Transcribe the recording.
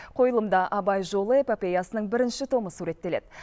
қойылымда абай жолы эпопеясының бірінші томы суреттеледі